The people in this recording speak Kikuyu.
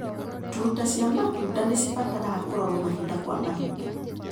Tuta cia matunda nĩcibataraga kũrorwo mahinda kwa mahinda.